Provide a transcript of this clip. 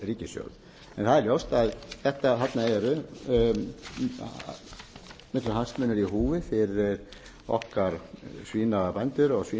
ríkissjóð það er ljóst að þarna eru miklir hagsmunir í húfi fyrir okkar svínabændur og